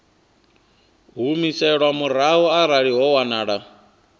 humiselwa murahu arali ho wanala